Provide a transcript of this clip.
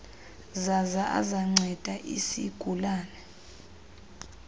zaza azanceda isigulane